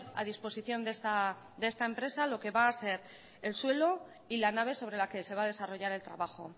a disposición de esta empresa lo que va a ser el suelo y la nave sobre la que se va a desarrollar el trabajo